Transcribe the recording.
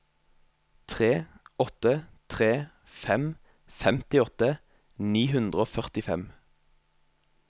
tre åtte tre fem femtiåtte ni hundre og førtifem